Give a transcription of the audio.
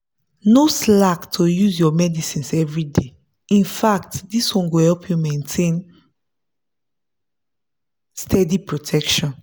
no slack to use your medicines everyday infact this one go help you maintain steady protection.